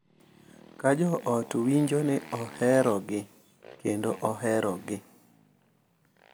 Ka jo ot winjo ni oherogi kendo oherogi,